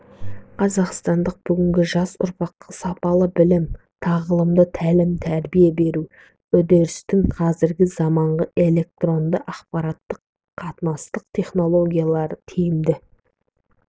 қазақстандық бүгінгі жас ұрпаққа сапалы білім тағылымды тәлім-тәрбие беру үрдісінде қазіргі заманғы электорнды ақпараттық-қатынастық технологияларды тиімді